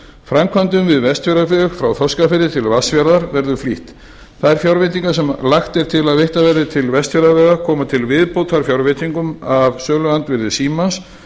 framkvæmdum við vestfjarðaveg frá þorskafirði til vatnsfjarðar verður flýtt þær fjárveitingar sem lagt er til að veittar verði til vestfjarðavegar koma til viðbótar fjárveitingum af söluandvirði símans